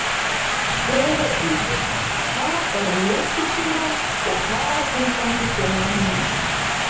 Skoðið einnig: Hvað er mjólkursýra og hvaða tilgangi þjónar hún?